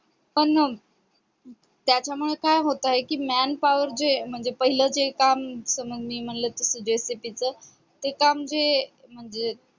पण अह त्याच्यामुळे काय होतंय manpower जे म्हणजे पहिल जे काम जस मी म्हणलं की JCB च ते काम जे म्हणजे